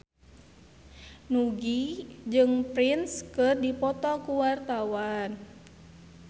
Nugie jeung Prince keur dipoto ku wartawan